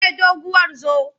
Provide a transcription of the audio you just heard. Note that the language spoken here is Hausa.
Ke doguwar zo!